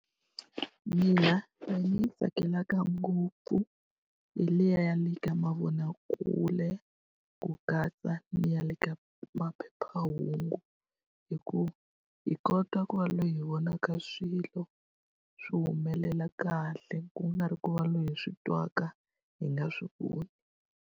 Mina leyi ndzi yi tsakelaka ngopfu hi leyi ya le ka mavonakule, ku katsa ni ya le ka maphephahungu. Hi ku hi kota ku va loyi hi vonaka swilo swi humelela kahle, ku nga ri ku va loyi hi swi twaka hi nga swi voni.